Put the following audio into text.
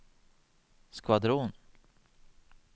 skvadron